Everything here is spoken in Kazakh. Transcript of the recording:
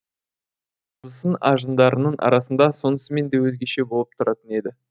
абысын ажындарының арасында сонысымен де өзгеше болып тұратын еді